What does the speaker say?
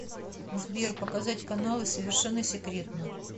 сбер показать каналы совершенно секретно